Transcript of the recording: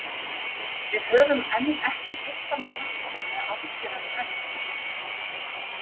Við höfum enn ekki tengt hann glæpnum með afgerandi hætti.